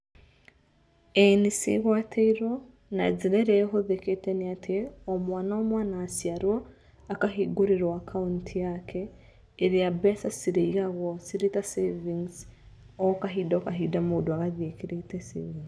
Ĩĩ nĩcigwatĩirwo , na njĩra ĩrĩa ĩhũthĩkĩte nĩatĩ, o mwana o mwana aciarwo, akahingũrĩrwo akaunti yake ĩrĩa mbeca cirĩigagwo cirĩta savings okahinda okahinda mũndũ agathiĩ ekĩrĩte savings